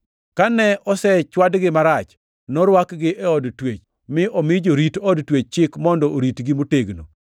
Kane osechwadgi marach, norwakgi e od twech mi omi jarit od twech chik mondo oritgi motegno.